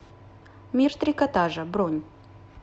мир трикотажа бронь